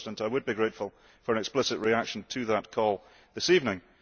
I would be grateful for an explicit reaction to that call this evening.